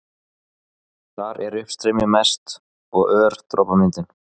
Þar er uppstreymi mest og ör dropamyndun.